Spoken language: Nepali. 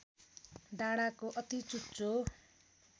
डाँडाको अति चुच्चो